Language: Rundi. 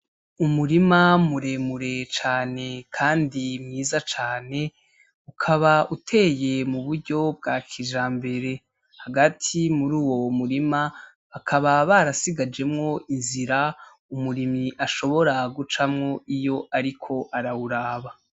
Umurima muremure cane kandi mwiza cane ukaba uteye muburyo bwa kijambere, hagati muruwo murima bakaba barasigajemwo inzira umurimyi ashobora gucamwo iyo ariko arawuraba.